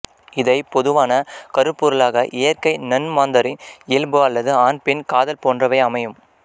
இதை பொதுவான கருப்பொருளாக இயற்கை நன்மாந்தரின் இயல்பு அல்லது ஆண் பெண் காதல் போன்றவை அமையும்